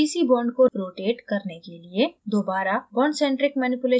cc bond को rotate करने के लिए दोबारा bondcentric manipulation tool उपयोग करें